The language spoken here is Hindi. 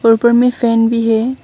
ऊपर ऊपर में फैन भी है।